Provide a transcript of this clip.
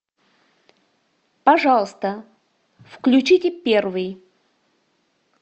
пожалуйста включите первый